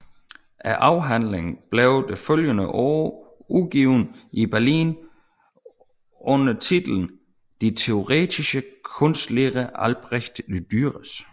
Afhandlingen blev det følgende år udgivet i Berlin under titlen Die Theoretische Kunstlehre Albrecht Dürers